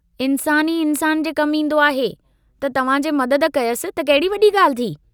इन्सानु ई इन्सान जे कमु ईन्दो आहे त तव्हां जे मदद कयसि त कहिड़ी वड़ी गाल्हि थी।